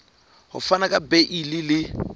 ho fana ka beile le